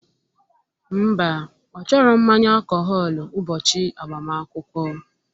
Mba, ọ chọrọ mmanya alkọhọlu ubochi agbamaakwụkwọ